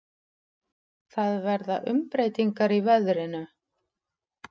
Það verða umbreytingar í veðrinu.